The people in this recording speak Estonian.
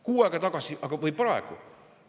Kuu aega tagasi või praegu?